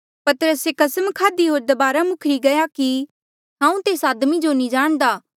पतरसे कसम खाधी होर दबारा मुखरी गया कि हांऊँ तेस आदमी जो नी जाणदा